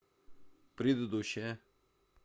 предыдущая